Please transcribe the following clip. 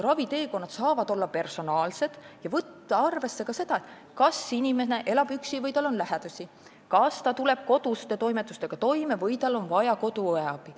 Raviteekonnad saavad olla personaalsed ja arvesse saab võtta ka seda, kas inimene elab üksi või tal on lähedasi, kas ta tuleb koduste toimetustega toime või tal on vaja koduõe abi.